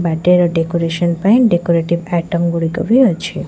Birthday ର decoration ପାଇଁ decorative item ଗୁଡିକ ବି ଅଛି।